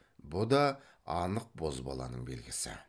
бұ да анық бозбаланың белгісі